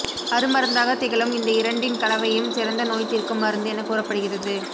அருமருந்தாக திகழும் இந்த இரண்டின் கலவையும் சிறந்த நோய் தீர்க்கும் மருந்து என கூறப்படுகிறது